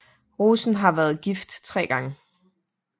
Rosen har været gift tre gange